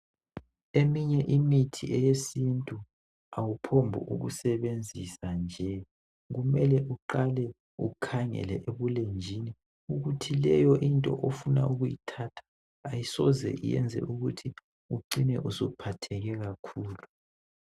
Eminye imithi yentu awuphombi kuyisebenzisa nje kumele uqale ukhangele ebulenjini ukuthi leyonto ofuna ukuyithatha ayisoze iyenze ukuthi ucine uphetheke kakhulu